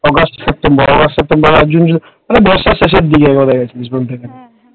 August September ওই বর্ষার শেষের দিক বলতে পারিস?